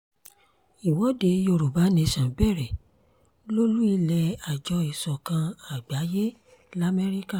ìwọ́de yorùbá nation bẹ̀rẹ̀ lólù-ilé àjọ ìsọ̀kan àgbáyé lamẹ́ríkà